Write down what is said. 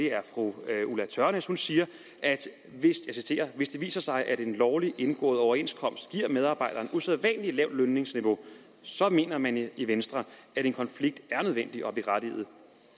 er fru ulla tørnæs hun siger jeg citerer hvis det viser sig at en lovlig indgået overenskomst giver medarbejderen usædvanlig lavt lønniveau så mener man i venstre at en konflikt er nødvendig og berettiget